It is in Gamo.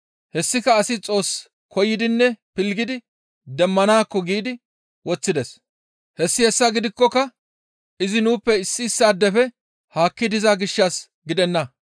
Hessika asi Xoos koyidinne pilggidi demmanaakko giidi woththides; hessi hessa gidikkoka izi nuuppe issi issaadefe haakki diza gishshas gidenna.